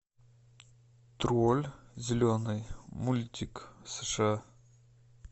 тролль зеленый мультик сша